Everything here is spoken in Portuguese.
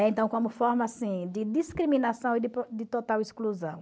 então, como forma assim de discriminação e de total exclusão.